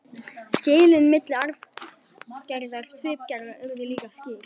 Skilin milli arfgerðar og svipgerðar urðu líka skýr.